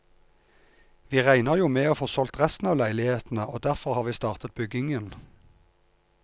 Vi regner jo med å få solgt resten av leilighetene og derfor har vi startet byggingen.